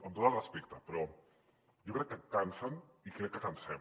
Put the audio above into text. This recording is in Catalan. amb tot el respecte però jo crec que cansen i crec que cansem